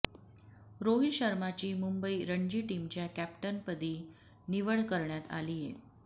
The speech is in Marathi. रोहित शर्माची मुंबई रणजी टीमच्या कॅप्टनपदी निवड करण्यात आलीय